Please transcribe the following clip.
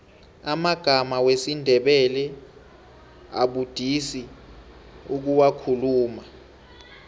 amagama wesindebele abudisi ukuwakhuluma